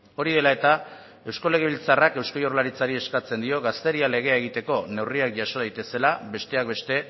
hori dela eta eusko legebiltzarrak eusko jaurlaritzari eskatzen dio gaztedia legea egiteko neurriak jaso daitezela besteak beste